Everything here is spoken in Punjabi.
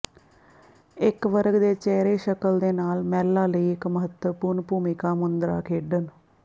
ਇੱਕ ਵਰਗ ਦੇ ਚਿਹਰੇ ਸ਼ਕਲ ਦੇ ਨਾਲ ਮਹਿਲਾ ਲਈ ਇੱਕ ਮਹੱਤਵਪੂਰਨ ਭੂਮਿਕਾ ਮੁੰਦਰਾ ਖੇਡਣ